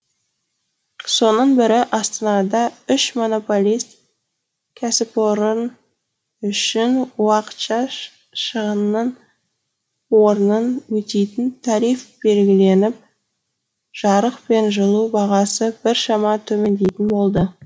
соның бірі астанада үш монополист кәсіпорын үшін уақытша шығынның орнын өтейтін тариф белгіленіп жарық пен жылу бағасы біршама төмендейтін болды